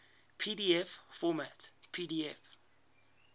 pdf format pdf